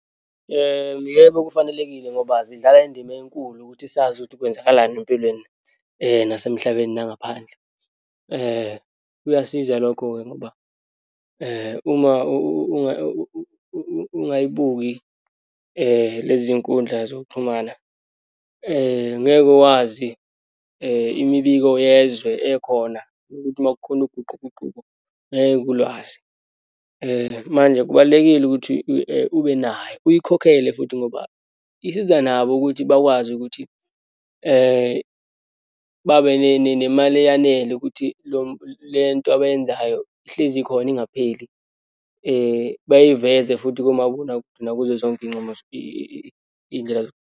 Yebo, kufanelekile ngoba zidlala indima enkulu ukuthi sazi ukuthi kwenzakalani empilweni nasemhlabeni nangaphandle. Kuyasiza lokho-ke ngoba uma ungayibuki lezi zinkundla zokuxhumana, ngeke wazi imibiko yezwe ekhona ukuthi uma kukhona uguquguquko, ngeke ulwazi. Manje kubalulekile ukuthi ube nayo uyikhokhele futhi ngoba isiza nabo ukuthi bakwazi ukuthi babe nemali eyanele ukuthi lo lento abayenzayo ihlezi khona, ingapheli, bayiveza futhi kumabonakude, nakuzo zonke iyincumo , iyindlela.